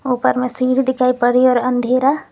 ऊपर में सीढ़ी दिखाई पड़ रही है और अंधेरा--